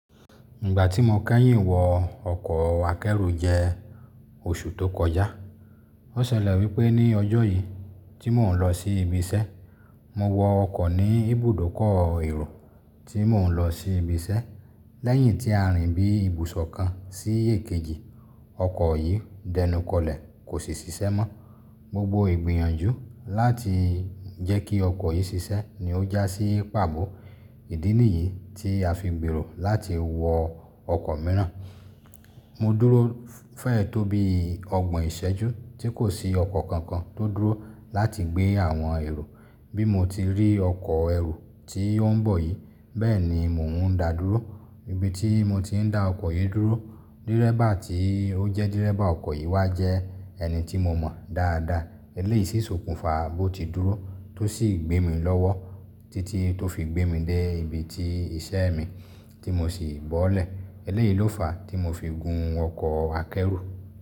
Ìgbà tí mo kẹ́yìn wọ ọkọ̀ akẹ́rù jẹ́ oṣù tó kọjá. Ó ṣẹlẹ̀ wípé ní ọjọ́ yìí tí mò ń lọ sí ibi iṣẹ́, mo wọ ọkọ̀ ní ibùdókọ̀ èrò tí mò ń lọ sí ibi iṣẹ́. Lẹ́yìn tí a rìn bí ibùsọ̀ kan sí èkejì, ọkọ̀ yìí dẹnukọlẹ̀ kò sì ṣiṣẹ́ mọ́. Gbogbo ìgbìyànjú láti jẹ́ kí ọkọ̀ yìí ṣiṣẹ́ ni ó jásí pàbọ́. Ìdí nìyí tí a fi ń gbèrò láti wọ ọkọ̀ mìíràn. Mo dúró fẹ́ẹ̀ tó bí ọgbọ̀n ìṣẹ́jú tí kò sí ọkọ̀ kankan tó dúró láti gbé àwọn èrò. Bí mo ti rí ọkọ̀ ẹrú tí ó ń bọ̀ yìí, bẹ́ẹ̀ ni mò ń dà dúró. Ibi tí mo ti ń dá ọkọ̀ yìí dúró, dírẹ́bà tí ó jẹ́ dírẹ́bà ọkọ̀ yìí wá jẹ ẹni tí mo mọ̀ dáadáa. Eléyìí sì sokùnfà bó ti dúró tó sì gbé mi lọ́wọ́ títí tó fi gbé mi dé ibi tí iṣẹ́ mi tí mo sì bọ́lẹ̀. Eléyìí ló fàá tí mo fi gun ọkọ̀ akẹ́rù.